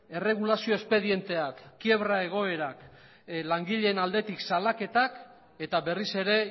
erregulazio espedienteak kiebra egoerak langileen aldetik salaketak eta berriz ere